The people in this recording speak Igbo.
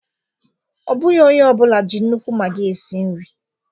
Ọ bụghị onye ọ bụla ji nnukwu maggi esi nri